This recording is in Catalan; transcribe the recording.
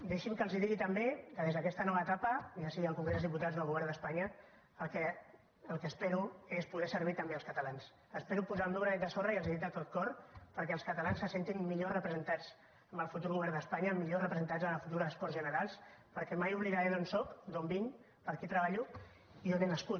deixi’m que els digui també que des d’aquesta nova etapa ja sigui al congrés dels diputats o al govern d’espanya el que espero és poder servir també els catalans espero posar el meu granet de sorra i els ho dic de tot cor perquè els catalans se sentin millor representats en el futur govern d’espanya millor representats a les futures corts generals perquè mai oblidaré d’on sóc d’on vinc per qui treballo i on he nascut